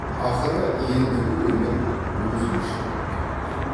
ақыры ендігі өмір өзгеше боп кетті